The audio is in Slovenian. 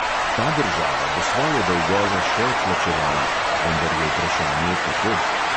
Ta država bo svoje dolgove še odplačevala, vendar je vprašanje kako.